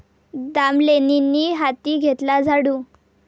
दामलेंनी हाती घेतला झाडू